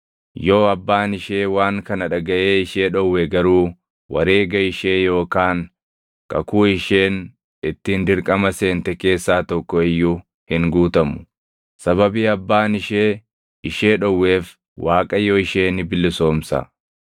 Yoo abbaan ishee waan kana dhagaʼee ishee dhowwe garuu wareega ishee yookaan kakuu isheen ittiin dirqama seente keessaa tokko iyyuu hin guutamu; sababii abbaan ishee ishee dhowweef Waaqayyo ishee ni bilisoomsa.